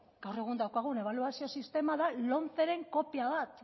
gaur egun daukagun ebaluazio sistema da lomceren kopia bat